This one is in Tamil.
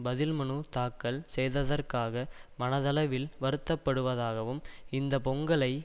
பதில் மனு தாக்கல் செய்ததற்காக மனதளவில் வருத்தப்படுவதாகவும் இந்த பொங்கலை